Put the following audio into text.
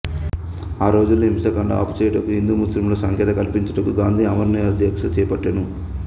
ఆ రోజులలో హింసాఖాండ ఆపుచేయుటకు హిందు ముస్లిముల సఖ్యతకలిపించుటకు గాందీ ఆమరణ నిరాహార దీక్షచేపట్టెను